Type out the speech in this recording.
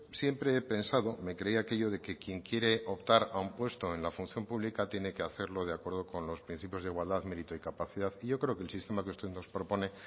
siempre he pensado me creía aquello de que quien quiere optar a un puesto en la función pública tiene que hacerlo de acuerdo con los principios de igualdad mérito y capacidad y yo creo que el sistema que usted nos propone